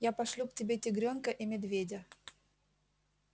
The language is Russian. я пошлю к тебе тигрёнка и медведя